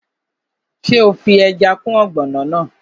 Ṣé o fi ẹja kún ọ̀gbọ̀nọ̀ náà?